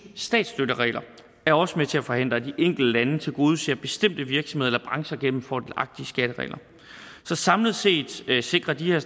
statsstøtteregler er også med til at forhindre at de enkelte lande tilgodeser bestemte virksomheder eller brancher gennem fordelagtige skatteregler så samlet set sikrer de her